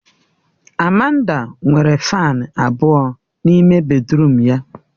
Amanda nwere Fani abụọ n'ime bèdrụm ya